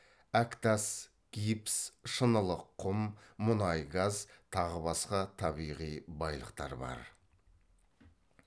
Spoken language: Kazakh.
әктас гипс шынылық құм мұнай газ тағы басқа табиғи байлықтар бар